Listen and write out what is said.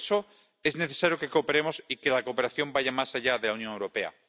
Por eso es necesario que cooperemos y que la cooperación vaya más allá de la Unión Europea.